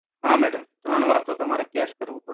હા madam ત્રણ વાર તો તમારે cash કરવું.